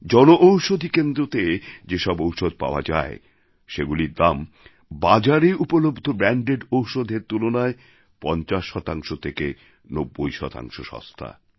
জনঔষধী কেন্দ্রতে যে সব ঔষধ পাওয়া যায় সেগুলির দাম বাজারে উপলব্ধ ব্র্যান্ডেড ওষুধের তুলনায় ৫০ শতাংশ থেকে ৯০ শতাংশ সস্তা